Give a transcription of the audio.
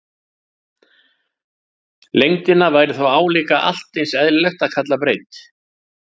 Lengdina væri þá líka allt eins eðlilegt að kalla breidd.